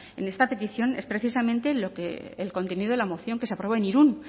en esta petición es precisamente el contenido de la moción que se aprobó en irún